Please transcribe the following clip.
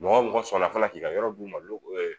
Mɔgɔ mɔgɔ sɔnna fana k'i ka yɔrɔ d'u ma lo